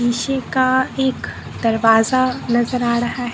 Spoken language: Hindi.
शीशे का एक दरवाजा नजर आ रहा --